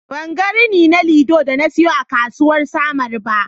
Ban ga rini na lido da na siyo a kasuwar samaru ba.